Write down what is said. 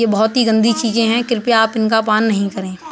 ये बहुत ही गंदी चीजे हैं कृपया आप इनका पान नही करें।